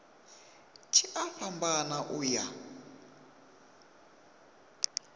tshi a fhambana u ya